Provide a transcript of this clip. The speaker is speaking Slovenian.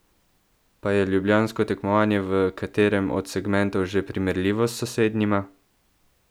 Pa je ljubljansko tekmovanje v katerem od segmentov že primerljivo s sosednjima?